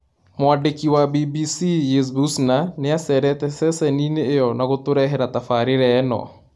Mwandĩki wa BBC Yves Bucyna nĩacerete ceceni-inĩ ĩyo na gũtũrehera tabarĩra ĩno